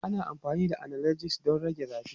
Ana amfani da analgesics don rage zafi.